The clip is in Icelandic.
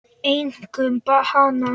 Einkum hana.